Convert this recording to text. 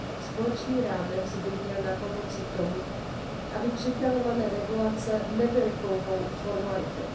Společný rámec by měl napomoci tomu, aby připravované regulace nebyly pouhou formalitou.